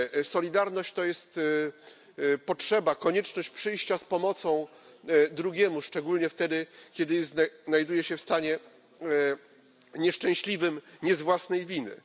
Solidarność to jest potrzeba, konieczność przyjścia z pomocą drugiemu, szczególnie wtedy, kiedy znajduje się w stanie nieszczęśliwym nie z własnej winy.